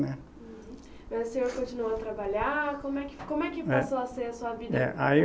Mas o senhor continuou a trabalhar? Como é que fi, como é que passou a ser a sua vida. É, aí